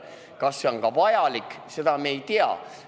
Kas see on vajalik, seda me ei tea.